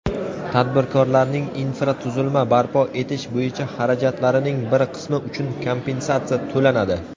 tadbirkorlarning infratuzilma barpo etish bo‘yicha xarajatlarining bir qismi uchun kompensatsiya to‘lanadi;.